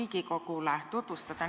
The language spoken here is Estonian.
Lugupeetud rahvastikuminister Riina Solman!